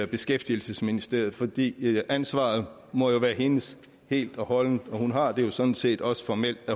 beskæftigelsesministeriet fordi ansvaret jo må være hendes helt og holdent hun har det sådan set også formelt